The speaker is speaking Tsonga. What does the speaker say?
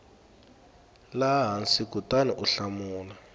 laha hansi kutani u hlamula